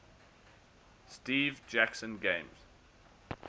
steve jackson games